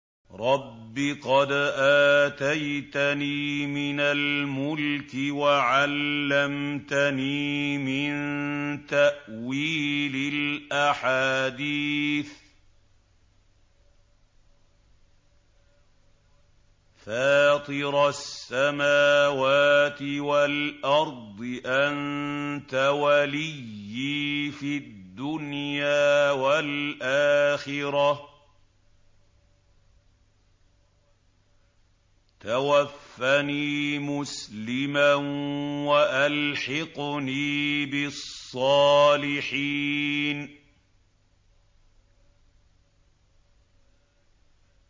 ۞ رَبِّ قَدْ آتَيْتَنِي مِنَ الْمُلْكِ وَعَلَّمْتَنِي مِن تَأْوِيلِ الْأَحَادِيثِ ۚ فَاطِرَ السَّمَاوَاتِ وَالْأَرْضِ أَنتَ وَلِيِّي فِي الدُّنْيَا وَالْآخِرَةِ ۖ تَوَفَّنِي مُسْلِمًا وَأَلْحِقْنِي بِالصَّالِحِينَ